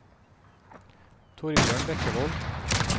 Torbjørn Bekkevold